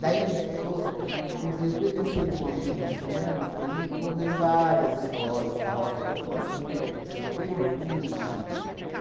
Daí, co correu por ele ser um homem muito dinâmico, ele correu várias escolas, Barroca da Zona Sul, Peruche